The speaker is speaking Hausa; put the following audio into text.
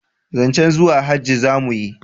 zancen zuwa hajji za mu yi